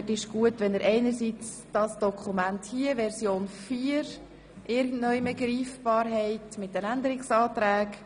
Es geht einerseits um das Dokument mit Version 4 der Änderungsanträge.